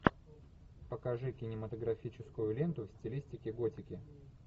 покажи кинематографическую ленту в стилистике готики